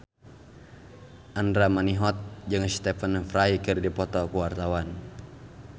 Andra Manihot jeung Stephen Fry keur dipoto ku wartawan